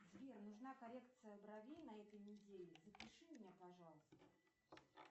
сбер нужна коррекция бровей на этой неделе запиши меня пожалуйста